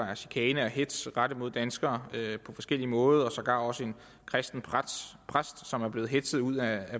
chikane og hetz rettet mod danskere på forskellig måde og sågar også en kristen præst som er blevet hetzet ud af